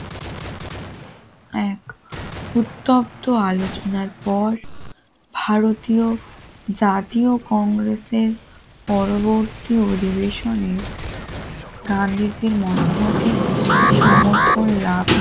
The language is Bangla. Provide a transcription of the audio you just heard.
এক উত্তপ্ত আলোচনার পর ভারতীয় জাতীয় কংগ্রেসের পরবর্তী অধিবেশনে গান্ধীজীর মতামতির সমর্থন লাভ